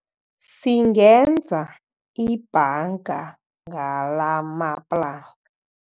Singenza ibhanga ngalamaplanka.